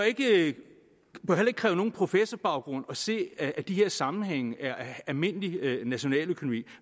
ikke kræve nogen professorbaggrund at se at de her sammenhænge er almindelig nationaløkonomi